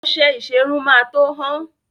Ọṣẹ ìṣerun máa tó hán.